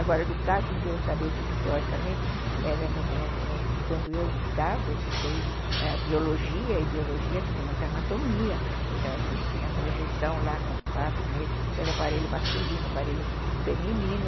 Agora, do caso de eu saber tudo teoricamente, era no no quando eu estudava, estudei biologia, e biologia tinha muita anatomia, então a gente tinha projeção lá no quadro negro de todo aparelho masculino, aparelho feminino,